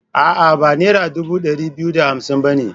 A'a, ba nera dubu ɗari biyu da hamsin ba ne.